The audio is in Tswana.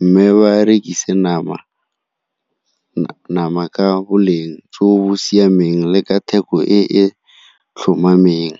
mme ba rekise nama ka boleng jo bo siameng le ka theko e e tlhomameng.